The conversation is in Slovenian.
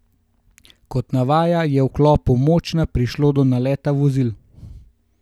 Kot navaja, je v vkopu Močna prišlo do naleta vozil.